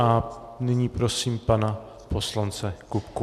A nyní prosím pana poslance Kupku.